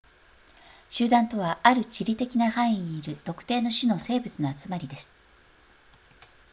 集団とはある地理的な範囲にいる特定の種の生物の集まりです